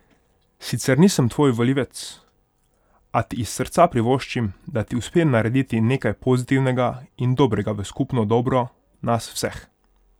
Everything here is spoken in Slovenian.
Sicer nisem tvoj volivec, a ti iz srca privoščim, da ti uspe narediti nekaj pozitivnega in dobrega v skupno dobro nas vseh!